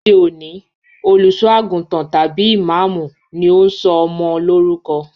Lóde òní, olùṣọ́-àgùntàn tàbí ìmáámù ni ó ń sọ ọmọ lórúkọ.